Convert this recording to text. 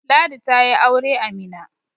Ladi ta yi aure a Mina